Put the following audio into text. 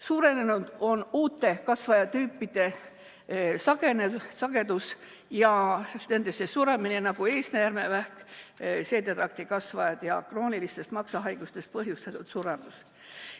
Suurenenud on uute kasvajatüüpide sagedus ja nendesse suremine, nagu eesnäärmevähk, seedetraktikasvajad ja kroonilistest maksahaigustest põhjustatud suremus.